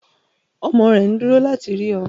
Ọmọ rẹ̀ nduro láti rí ọ